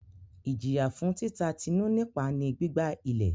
Ijiya fun tita Tinu nipa ni gbigba ilẹ